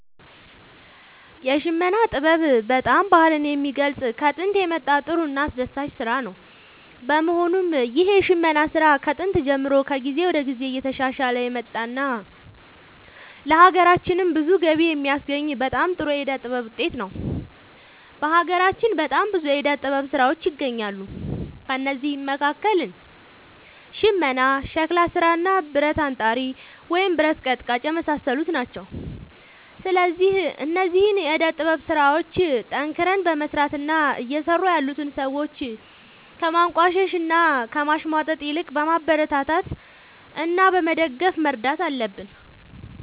የሽመና ጥበብ በጣም ባህልን የሚገልፅ ከጦንት የመጣ ጥሩ እና አስደሳች ስራ ነው በመሆኑም ይህ የሽመና ስራ ከጥንት ጀምሮ ከጊዜ ወደ ጊዜ እየተሻሻለ የመጣ እና ለሀገራችንም ብዙ ገቢ የሚያስገኝ በጣም ጥሩ የዕደ ጥበብ ውጤት ነው። በሀገራችን በጣም ብዙ የዕደ ጥበብ ስራዎች ይገኛሉ ከእነዚህም መካከል ሽመና ሸክላ ስራ ብረት አንጣሪ ወይም ብረት ቀጥቃጭ የመሳሰሉት ናቸው። ስለዚህ እነዚህን የዕደ ጥበብ ስራዎች ጠንክረን በመስራት እና እየሰሩ ያሉትን ሰዎች ከማንቋሸሽ እና ከማሽሟጠጥ ይልቅ በማበረታታት እና በመደገፍ መርዳት አለብን